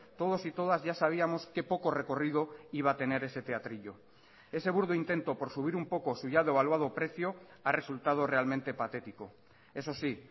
todos y todas ya sabíamos qué poco recorrido iba a tener ese teatrillo ese burdo intento por subir un poco su ya devaluado precio ha resultado realmente patético eso sí